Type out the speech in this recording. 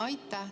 Aitäh!